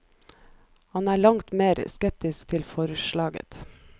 Han er langt mer skeptisk til forslaget.